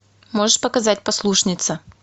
можешь показать послушница